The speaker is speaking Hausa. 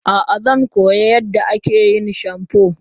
a'a, zan koyi yadda ake yin shamfu